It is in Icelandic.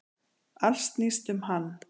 Allt snýst um hann.